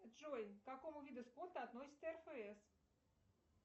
джой к какому виду спорта относится рфс